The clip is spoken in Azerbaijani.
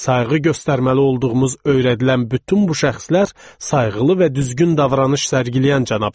Sayğı göstərməli olduğumuz öyrədilən bütün bu şəxslər sayğılı və düzgün davranış sərgiləyən cənablar idi.